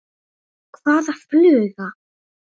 Hvaða fluga?